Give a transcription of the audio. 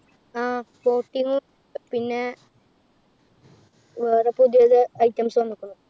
ആഹ് boating പിന്നെ വേറെ പുതിയത് items വന്ന്ക്കുണു.